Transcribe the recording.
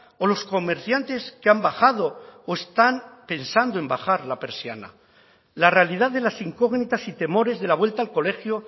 o los comerciantes que han bajado o están pensando en bajar la persiana la realidad de las incógnitas y temores de la vuelta al colegio